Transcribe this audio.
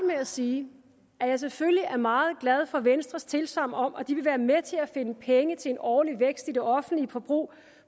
med at sige at jeg selvfølgelig er meget glad for venstres tilsagn om at de vil være med til at finde penge til en årlig vækst i det offentlige forbrug